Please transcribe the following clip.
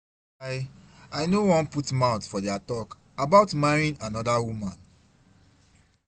I I no wan put mouth for their talk about marrying another woman.